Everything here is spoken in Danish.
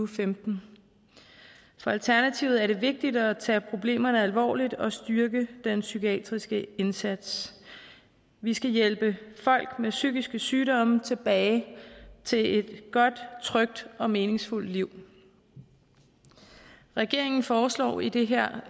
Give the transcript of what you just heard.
femten for alternativet er det vigtigt at tage problemerne alvorligt og styrke den psykiatriske indsats vi skal hjælpe folk med psykiske sygdomme tilbage til et godt trygt og meningsfuldt liv regeringen foreslår i det her